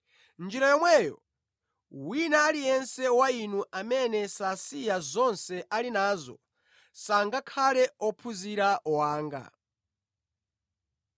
Mʼnjira yomweyo, wina aliyense wa inu amene sasiya zonse ali nazo sangakhale ophunzira wanga.